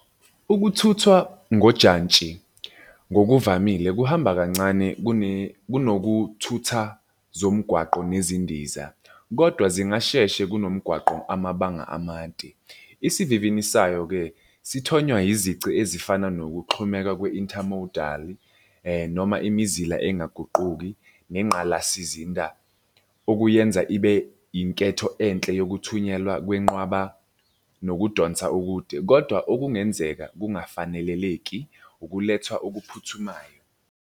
Ukuthuthwa ngojantshi ngokuvamile kuhamba kancane kune kunokuthutha zomgwaqo nezindiza, kodwa zingasheshe kunomgwaqo amabanga amade. Isivivini sayo-ke sithonywa izici ezifana nokuxhumeka kwe-inter model noma imizila engaguquki nengqalasizinda okuyenza ibe inketho enhle yokuthunyelwa kwenqaba nokudonsa ukude, kodwa okungenzeka kungafaneleleki ukulethwa okuphuthumayo.